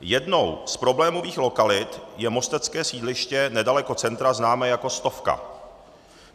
Jednou z problémových lokalit je mostecké sídliště nedaleko centra známé jako Stovka.